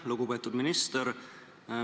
Lugupeetud minister!